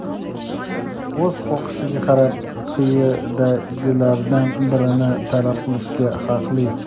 o‘z xohishiga qarab quyidagilardan birini talab qilishga haqli:.